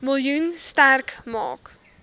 miljoen sterk maak